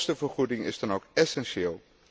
Zo'n kostenvergoeding is dan ook essentieel.